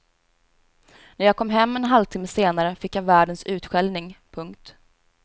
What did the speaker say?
När jag kom hem en halvtimme senare fick jag världens utskällning. punkt